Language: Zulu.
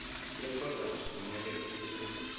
yeproduct kumele isetshenziswe